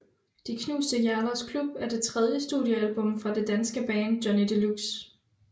De knuste hjerters klub er det tredje studiealbum fra det danske band Johnny Deluxe